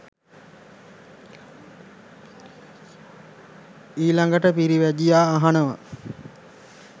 ඊළඟට පිරිවැජියා අහනවා.